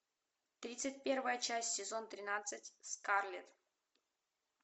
тридцать первая часть сезон тринадцать скарлетт